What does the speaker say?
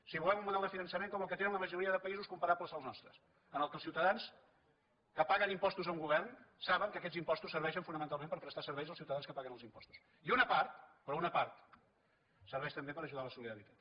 si volem un model de finançament com el que tenen la majoria de països comparables al nostres en què els ciutadans que paguen impostos a un govern saben que aquests impostos serveixen fonamentalment per prestar serveis als ciutadans que paguen els impostos i una part però una part serveix també per ajudar a la solidaritat